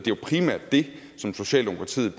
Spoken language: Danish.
det som socialdemokratiet